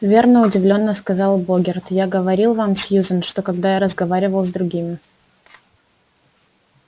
верно удивлённо сказал богерт я говорил вам сьюзен что когда я разговаривал с другими